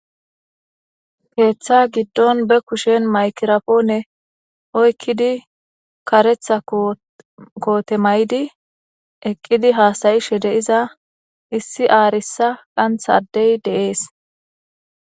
Keeththa giddon be kushen maykirapoone oykkidi karetha kootemaydi eqqidi haasayishe de iza issi aarisa qanth adey deees.